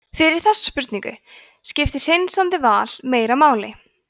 fyrir þessa spurningu skiptir hreinsandi val meira máli